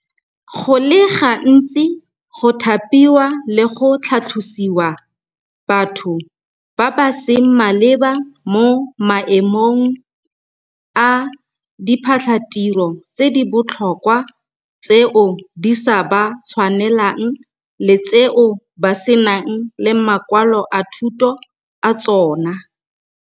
Go le gantsi go thapiwa le go tlhatlhosiwa batho ba ba seng maleba mo maemong a diphatlhatiro tse di botlhokwa tseo di sa ba tshwanelang le tseo ba senang le makwalo a thuto a tsona.